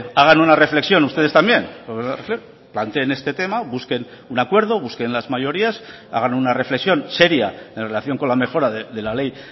hagan una reflexión ustedes también planteen este tema busquen un acuerdo busquen las mayorías hagan una reflexión seria en relación con la mejora de la ley